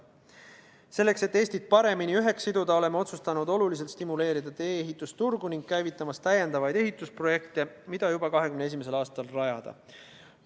Selleks, et Eestit paremini üheks siduda, oleme otsustanud oluliselt stimuleerida tee-ehituse turgu ning käivitada täiendavaid ehitusprojekte, mida juba 2021. aastal teostada.